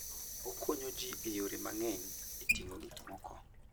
Okonyo ji e yore mang'eny e ting'o gik moko.